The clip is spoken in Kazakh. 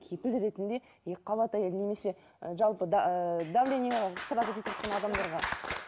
кепіл ретінде екіқабат әйел немесе жалпы давление сразу адамдарға